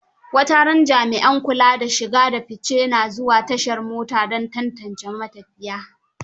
Wataran jami'an kula da shige da fice na zuwa tashar mota don tantance ma tafiya.